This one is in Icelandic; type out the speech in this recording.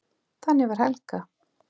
Þannig var Helga.